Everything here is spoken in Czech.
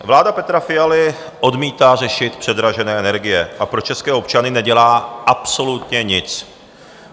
Vláda Petra Fialy odmítá řešit předražené energie a pro české občany nedělá absolutně nic.